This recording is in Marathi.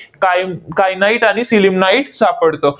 कायन kyanite आणि sillimanite सापडतं.